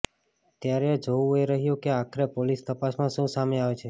ત્યારે જોવુ એ રહ્યુ કે આખરે પોલીસ તપાસમાં શુ સામે આવે છે